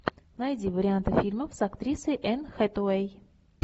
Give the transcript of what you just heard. найди варианты фильмов с актрисой энн хэтэуэй